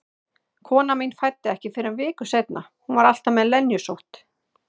Konan mín fæddi ekki fyrr en viku seinna, hún var alltaf með lenjusótt.